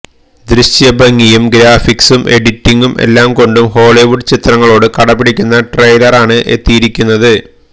ദൃശ്യഭംഗിയും ഗ്രാഫിക്സും എഡിറ്റിംഗും എല്ലാം കൊണ്ടും ഹോളിവുഡ് ചിത്രങ്ങളോട് കിടപിടിക്കുന്ന ട്രെയിലറാണ് എത്തിയിരിക്കുന്നത്